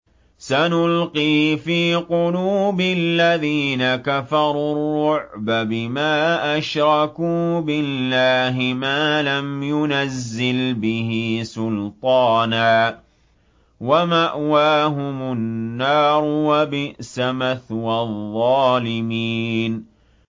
سَنُلْقِي فِي قُلُوبِ الَّذِينَ كَفَرُوا الرُّعْبَ بِمَا أَشْرَكُوا بِاللَّهِ مَا لَمْ يُنَزِّلْ بِهِ سُلْطَانًا ۖ وَمَأْوَاهُمُ النَّارُ ۚ وَبِئْسَ مَثْوَى الظَّالِمِينَ